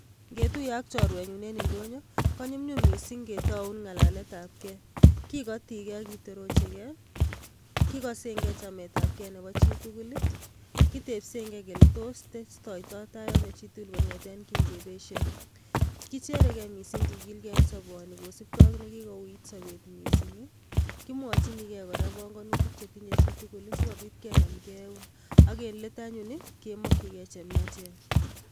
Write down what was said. Ngetuiye ak chorwenyu en indonyo, konyumnyum mising ketaun ngalaletabkei, kikotikei ak kitorochikei kikosenkei chametabkei nebo chitugul ii, kitebsenkei kele tos testotoitai ano chi tugul kongeten ki ngebesie, kichereke mising kikilgei en soboni kosubkei ak ne kikouit sobet mising ii, kimwochinikei kora banganutik che tinye chi tugul si kobit kenamke eun, ak en let anyun ii, kemokchikei che miachen.